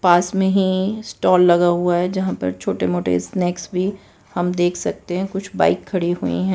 पास में ही स्टॉल लगा हुआ है जहां पर छोटे मोटे स्नैक्स भी हम देख सकते हैं कुछ बाइक खड़ी हुई हैं।